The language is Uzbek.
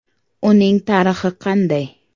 Uning tarixi qanday?